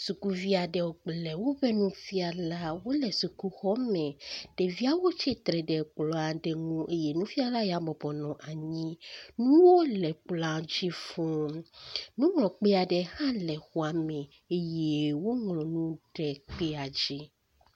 Sukuvi aɖe kple woƒe nufiala wo le sukuxɔme. Ɖeviawo tsitre ɖe kplɔ aɖe ŋu eye nufiala ya bɔbɔnɔ anyi. Nuwo le kplɔa di fuu. Nuŋlɔkpe aɖe hã le xɔa me eye woŋlɔ nu ɖe kpea dzi.